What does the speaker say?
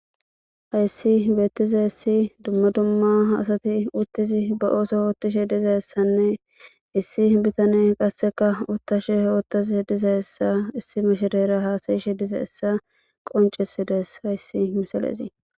Hayssi beettizi issi dumma dumma asati uttizi ba ooso oottishe diza essanne issi bitane qasseka uttashe oottaze diza essa issi mashedera haasayishe diza hessa qoncesides hayssi misalezii